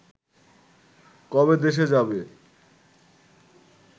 কবে দেশে যাবে